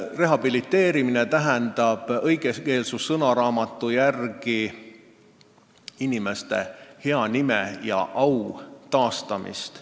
Rehabiliteerimine tähendab õigekeelsussõnaraamatu järgi inimeste hea nime ja au taastamist.